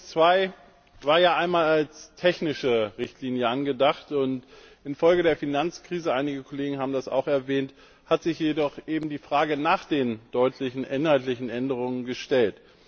Omnibus II war ja einmal als technische Richtlinie angedacht, infolge der Finanzkrise einige Kollegen haben das auch erwähnt hat sich jedoch die Frage nach den deutlichen inhaltlichen Änderungen gestellt.